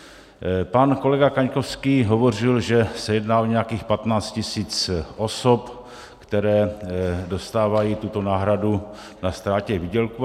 Pan kolega Kaňkovský hovořil, že se jedná o nějakých 15 tisíc osob, které dostávají tuto náhradu na ztrátě výdělku.